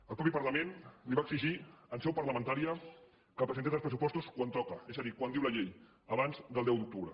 el mateix parlament li va exigir en seu parlamentària que presentés els pressupostos quan toca és a dir quan diu la llei abans del deu d’octubre